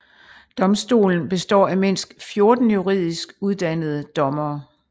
Domstolen består af mindst 14 juridisk uddannede dommere